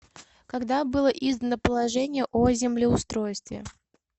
когда было издано положение о землеустройстве